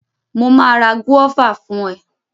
Mo ma ra gúọ́và fún ẹ.